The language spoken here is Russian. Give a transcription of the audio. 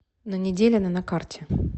на неделина на карте